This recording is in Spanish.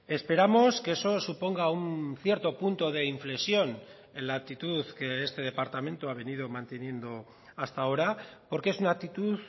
esperamos que eso suponga un cierto punto de inflexión en la actitud que este departamento ha venido manteniendo hasta ahora porque es una actitud